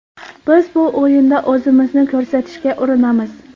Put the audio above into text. Biz bu o‘yinda o‘zimizni ko‘rsatishga urinamiz.